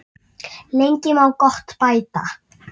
Lengi má gott bæta.